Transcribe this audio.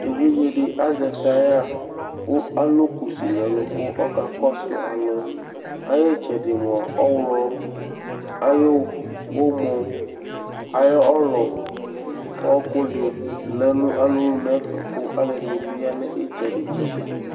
Evidze ɖi azɛ tyre kʋ alu kʋsi ŋu ɛlu kʋ ɔka kɔsu alu Ayʋ itsɛɖi mʋa awlɔ ayʋ ɔmɔ ayʋ ɔlu ɔku ɖi lɛnu alɔŋu ŋu ɛfɛ kʋ alʋɛdìní bi ya ŋu itsɛɖi tsɛɖi